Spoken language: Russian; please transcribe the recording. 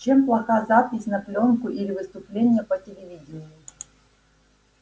чем плоха запись на плёнку или выступление по телевидению